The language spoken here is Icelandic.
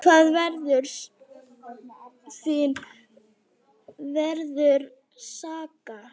Hve sárt þín verður saknað.